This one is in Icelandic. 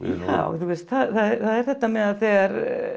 já það er þetta með þegar